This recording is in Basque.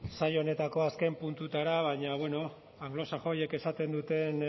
saio honetako azken puntutara baina bueno anglosaxoiek esaten duten